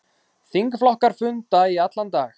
Þingflokkar funda í allan dag